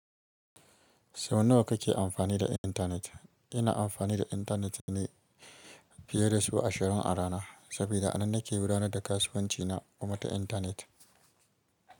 Sau nawa kake amfani da intanet? Ina amfani da intanet ne fiye da sau ashirin a rana, saboda a nan nake gudanar da kasuwanci na kuma ta intanet.